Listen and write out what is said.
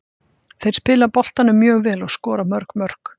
Þeir spila boltanum mjög vel og skora mörg mörk.